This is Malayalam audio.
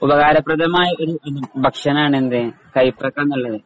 ഉപകാരപ്രദമായ ഒരു ഭക്ഷണാണ് എന്ത് കൈപ്പക്ക എന്നുള്ളത്.